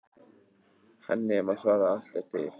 Henni má svara: Allt er til.